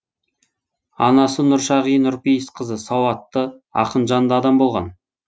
анасы нұршағи нұрпейісқызы сауатты ақынжанды адам болған